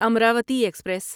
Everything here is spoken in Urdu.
امراوتی ایکسپریس